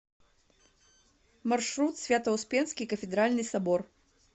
маршрут свято успенский кафедральный собор